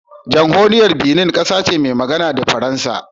Jamhuriyar Benin kasa ce mai magana da Faransanci